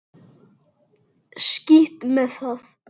Skítt með það.